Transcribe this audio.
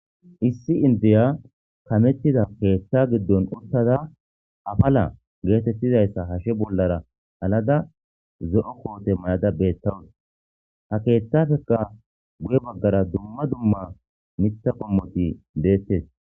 Issi inddiya kameththida keeththaa giddon uththada afalaa geetheththida isaa hashe bollaara halada zo7o koote maa7ada beeththawus; ha keeththaaphphekka guye baggaara dumma dumma miththa qommothi beththees.